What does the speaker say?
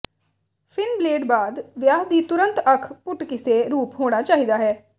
fin blade ਬਾਅਦ ਵਿਆਹ ਦੀ ਤੁਰੰਤ ਅੱਖ ਪੁੱਟ ਕਿਸੇ ਰੂਪ ਹੋਣਾ ਚਾਹੀਦਾ ਹੈ